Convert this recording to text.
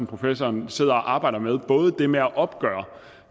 professoren sidder og arbejder med nemlig at opgøre